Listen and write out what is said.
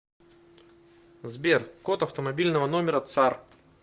сбер код автомобильного номера цар